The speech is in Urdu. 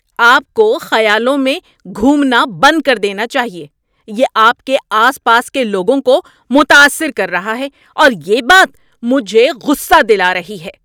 آپ کو خیالوں میں گھومنا بند کر دینا چاہیے۔ یہ آپ کے آس پاس کے لوگوں کو متاثر کر رہا ہے اور یہ بات مجھے غصہ دلا رہی ہے۔